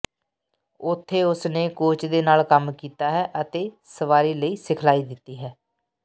ਉੱਥੇ ਉਸ ਨੇ ਕੋਚ ਦੇ ਨਾਲ ਕੰਮ ਕੀਤਾ ਹੈ ਅਤੇ ਸਵਾਰੀ ਲਈ ਸਿਖਲਾਈ ਦਿੱਤੀ